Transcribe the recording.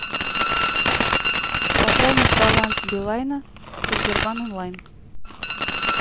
пополнить баланс билайна со сбербанк онлайн